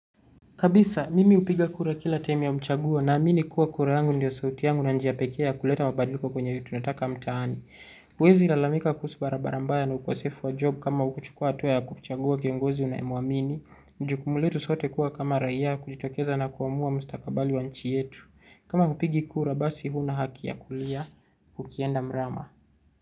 Kabisa, mimi hupiga kura kila time ya mchaguo naamini kuwa kura yangu ndiyo sauti yangu na njia pekee ya kuleta mabadiliko kwenye tunataka mtaani. Huwezi lalamika kuhusu barabara mbaya na ukosefu wa job kama hukuchukua hatua ya kuchagua kiongozi unayemwamini. Jukumu letu sote kuwa kama raia kujitokeza nakuamua mstakabali wa nchi yetu. Kama hupigi kura basi huna haki ya kulia, ukienda mrama.